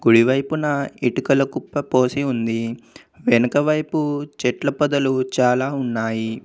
కుడివైపున ఇటుకల కుప్ప పోసి ఉంది. వెనుక వైపు చెట్ల పొదలు చాలా ఉన్నాయి.